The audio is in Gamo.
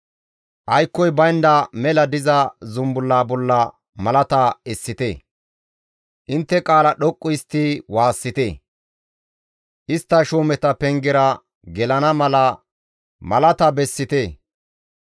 aykkoy baynda mela diza zumbulla bolla malata essite; intte qaala dhoqqu histti waassite; istta shuumeta pengera gelana mala malata bessite.